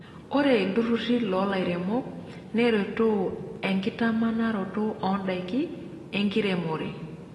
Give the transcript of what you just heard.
Ore ilturruri loo lairemok neretoo enkitamanaroto oondaiki enkiremore.